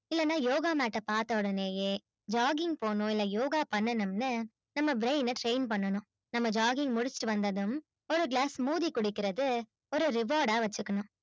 இல்லைன்னா யோகா mat அ பார்த்த ஒடனேயே jogging போணும் இல்லை யோகா பண்ணணும்னு நம்ம brain அ train பண்ணணும் நம்ம jogging முடிச்சிட்டு வந்ததும் ஒரு glass மோதி குடிக்கிறது ஒரு reward ஆ வச்சுக்கணும்